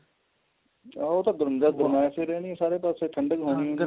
ਉਹ ਤਾਂ ਗਰਮੈਸ਼ ਹੀ ਰਹਿਣੀ ਹੈ ਸਾਰੇ ਪਾਸੇ ਠੰਡਕ ਹੋਣੀ ਨਹੀਂ